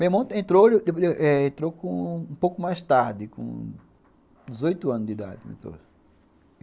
Meu irmão entrou um pouco mais tarde, com dezoito anos de idade